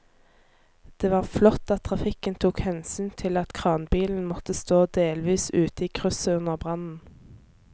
Det var flott at trafikken tok hensyn til at kranbilen måtte stå delvis ute i krysset under brannen.